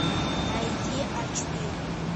найди а четыре